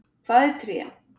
Hvað er tré?